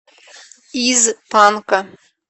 из панка